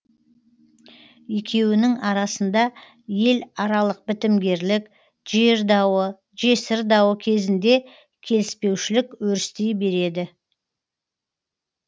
екеуінің арасында ел аралық бітімгерлік жер дауы жесір дауы кезінде келіспеушілік өрістей береді